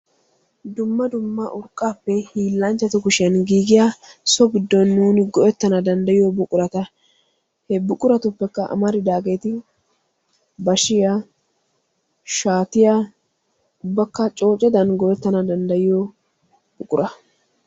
dumma dumma urqaappe hilanchchatu koshiyan giigiya so giddon nuuni go'ettanawu danddayiya buqurata.